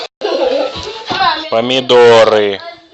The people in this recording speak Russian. помидоры